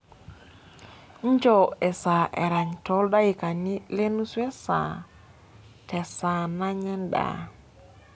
injoo esaa erany too ildaikani le nusu esaa te saa nanya endaa